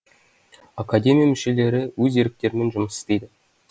академия мүшелері өз еріктерімен жұмыс істейді